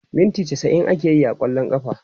minti chasa'in akeyi a kwallon kafa